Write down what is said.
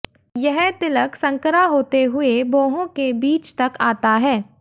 यह तिलक संकरा होते हुए भोहों के बीच तक आता है